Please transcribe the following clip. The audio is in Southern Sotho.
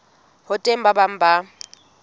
ho teng ba bang ba